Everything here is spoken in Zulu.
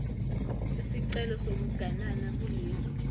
isicelo sokuganana kulesi